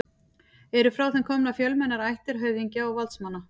Eru frá þeim komnar fjölmennar ættir höfðingja og valdsmanna.